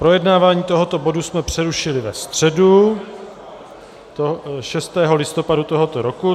Projednávání tohoto bodu jsme přerušili ve středu 6. listopadu tohoto roku.